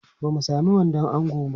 Ba mu sami wandon ango ba.